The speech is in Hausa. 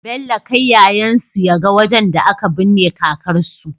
Bello kai yayan su yaga wajan da aka bunne kakar su